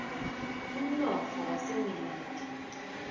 umnotfo wasengilandi